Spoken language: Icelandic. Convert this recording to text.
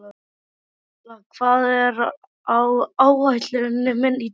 Atla, hvað er á áætluninni minni í dag?